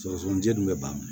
Sɔgɔsɔgɔnijɛ dun bɛ ban